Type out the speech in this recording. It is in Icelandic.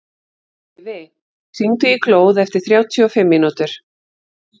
Eyfi, hringdu í Glóð eftir þrjátíu og fimm mínútur.